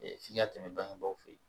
f'i ka tɛmɛ bangebaaw fɛ